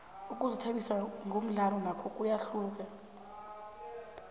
ukuzithabisa ngomdlalo nakho kuyahluka